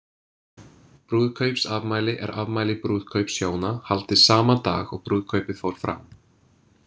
Brúðkaupsafmæli er afmæli brúðkaups hjóna haldið sama dag og brúðkaupið fór fram.